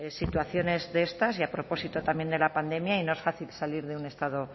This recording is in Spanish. situaciones de estas y a propósito también de la pandemia y no es fácil salir de un estado